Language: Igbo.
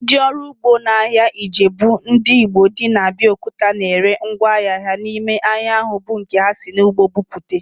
Ndị ọrụ ugbo ahịa Ijebu ndị Igbo dị na Abiokuta na ere ngwá ahịa ha n'ime ahịa ahu bụ nke ha si n'ugbo bute